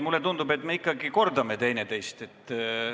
Mulle tundub, et me ikkagi kordame üksteist.